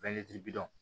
bi don